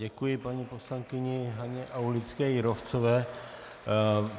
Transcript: Děkuji paní poslankyni Haně Aulické Jírovcové.